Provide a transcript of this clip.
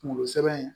Kunkolo sɛbɛn